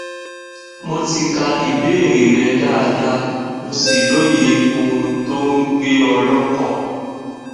mo ti ka ìbéèrè rẹ dáadáa mo sì lóye ohun tó ń gbé ọ lọkàn